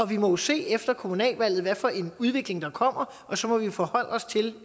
vi må jo se efter kommunalvalget hvad for en udvikling der kommer og så må vi forholde os til